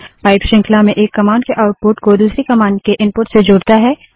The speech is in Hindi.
पाइप श्रृंखला में एक कमांड के आउटपुट को दूसरी कमांड के इनपुट से जोड़ता है